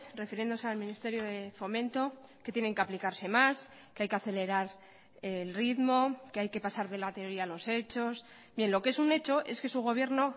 refiriéndose al ministerio de fomento que tienen que aplicarse más que hay que acelerar el ritmo que hay que pasar de la teoría a los hechos bien lo que es un hecho es que su gobierno